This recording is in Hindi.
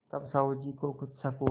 तब साहु जी को कुछ शक हुआ